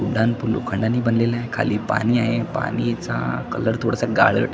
उड्डाणपूल लोखंडानी बनलेल आहे खाली पाणी आहे पाणीचा कलर थोडासा गाळट --